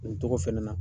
Nin tɔgɔ fɛnɛ na